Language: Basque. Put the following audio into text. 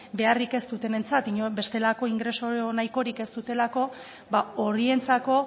beharrik ez dutenentzat bestelako ingreso nahikorik ez dutelako ba horientzako